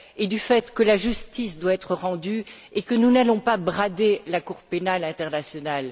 du fait que la justice doit être rendue et que nous n'allons pas brader la Cour pénale internationale.